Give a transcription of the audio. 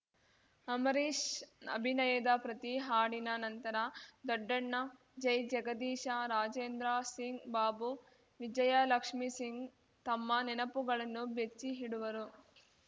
ಅಂಬರೀಷ್‌ ಅಭಿನಯದ ಪ್ರತಿ ಹಾಡಿನ ನಂತರ ದೊಡ್ಡಣ್ಣ ಜೈಜಗದೀಶ ರಾಜೇಂದ್ರ ಸಿಂಗ್‌ ಬಾಬು ವಿಜಯಲಕ್ಷ್ಮೀ ಸಿಂಗ್‌ ತಮ್ಮ ನೆನಪುಗಳನ್ನು ಬಿಚ್ಚಿಇಡುವರು